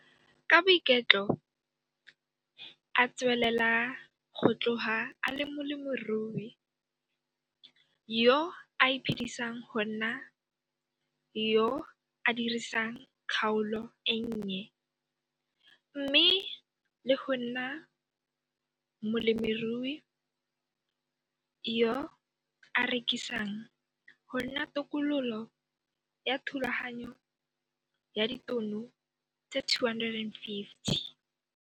Ka boiketlo a tswelela go tloga a le molemirui yo a iphedisang go nna yo a dirisang kgaolo e nnye mme le go nna molemirui yo a rekisang go nna tokololo ya Thulaganyo ya Ditono tse 250.